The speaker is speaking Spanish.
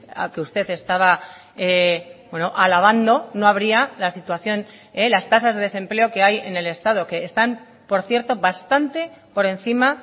a que usted estaba alabando no habría la situación las tasas de desempleo que hay en el estado que están por cierto bastante por encima